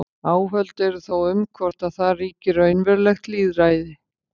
Áhöld eru þó um hvort að þar ríki raunverulegt lýðræði.